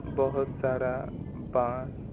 बहुत सारा बांस--